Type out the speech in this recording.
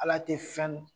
Ala tɛ fɛn